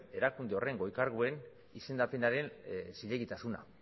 erakunde horren goi karguen izendapenaren zilegitasuna